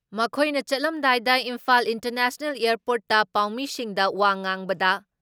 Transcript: ꯃꯈꯣꯏꯅ ꯆꯠꯂꯝꯗꯥꯏꯗ ꯏꯝꯐꯥꯜ ꯏꯟꯇꯔꯅꯦꯁꯅꯦꯜ ꯑꯦꯌꯔꯄꯣꯔꯠꯇ ꯄꯥꯎꯃꯤꯁꯤꯡꯗ ꯋꯥ ꯉꯥꯡꯕꯗ